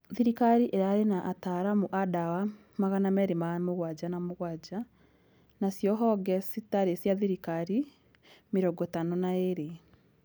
Thirikari ĩrarĩ na ataaramu a dawa 277 nacio honge citarĩ cia thirikari 52